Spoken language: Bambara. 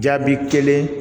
Jaabi kelen